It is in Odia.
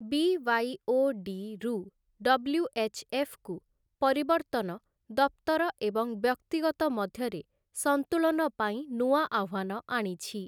ବି.ୱାଇ.ଓ.ଡି. ରୁ ଡବ୍ଲ୍ୟୁ.ଏଚ୍‌.ଏଫ୍‌.କୁ ପରିବର୍ତ୍ତନ ଦପ୍ତର ଏବଂ ବ୍ୟକ୍ତିଗତ ମଧ୍ୟରେ ସନ୍ତୁଳନ ପାଇଁ ନୂଆ ଆହ୍ୱାନ ଆଣିଛି ।